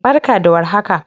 barka da war haka